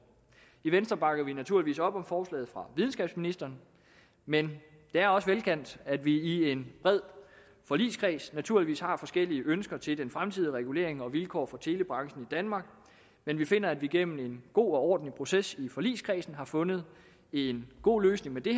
i venstre bakker vi naturligvis op om forslaget fra videnskabsministeren men det er også velkendt at vi i en bred forligskreds naturligvis har forskellige ønsker til den fremtidige regulering og vilkår for telebranchen i danmark men vi finder at vi gennem en god og ordentlig proces i forligskredsen har fundet en god løsning med det